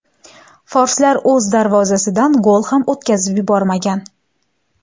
Forslar o‘z darvozasidan gol ham o‘tkazib yubormagan.